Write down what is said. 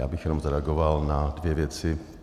Já bych jenom zareagoval na dvě věci.